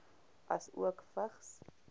asook vigs